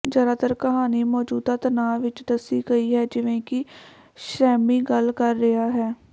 ਜ਼ਿਆਦਾਤਰ ਕਹਾਣੀ ਮੌਜੂਦਾ ਤਣਾਅ ਵਿਚ ਦੱਸੀ ਗਈ ਹੈ ਜਿਵੇਂ ਕਿ ਸੈਮੀ ਗੱਲ ਕਰ ਰਿਹਾ ਹੈ